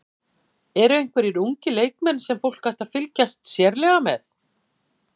Eru einhverjir ungir leikmenn sem fólk ætti að fylgjast sérstaklega með?